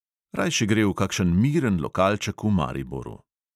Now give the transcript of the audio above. Rajši gre v kakšen miren lokalček v mariboru.